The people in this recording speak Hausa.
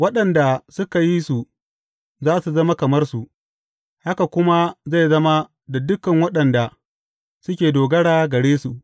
Waɗanda suka yi su za su zama kamar su, haka kuma zai zama da dukan waɗanda suke dogara gare su.